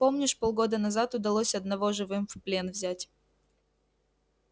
помнишь полгода назад удалось одного живым в плен взять